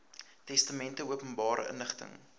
testamente openbare inligting